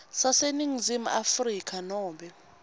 saseningizimu afrika nobe